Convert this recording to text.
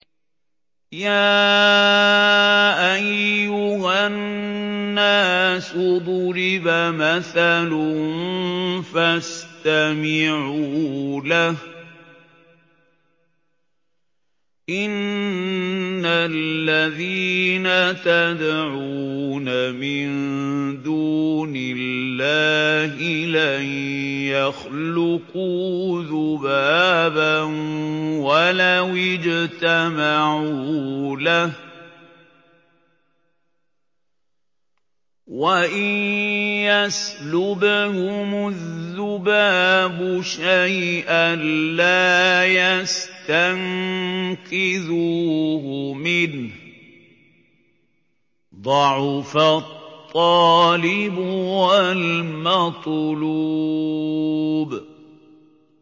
يَا أَيُّهَا النَّاسُ ضُرِبَ مَثَلٌ فَاسْتَمِعُوا لَهُ ۚ إِنَّ الَّذِينَ تَدْعُونَ مِن دُونِ اللَّهِ لَن يَخْلُقُوا ذُبَابًا وَلَوِ اجْتَمَعُوا لَهُ ۖ وَإِن يَسْلُبْهُمُ الذُّبَابُ شَيْئًا لَّا يَسْتَنقِذُوهُ مِنْهُ ۚ ضَعُفَ الطَّالِبُ وَالْمَطْلُوبُ